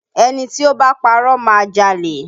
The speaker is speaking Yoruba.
Ẹni tí ó bá ń parọ́ má a jalè